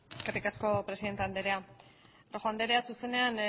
eskerrik asko presidente anderea rojo anderea zuzenean